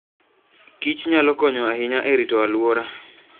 kich nyalo konyo ahinya e rito alwora.